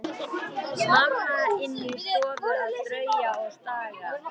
Mamma inni í stofu að strauja og staga.